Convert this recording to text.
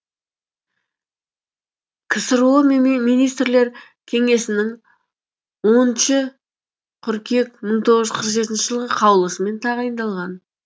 ксро министрлер кеңесінің оныншы қыркүйек мың тоғыз жүз қырық жетінші жылғы қаулысымен тағайындалған